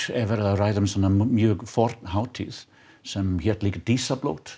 ræðir um mjög forna hátíð sem hét líka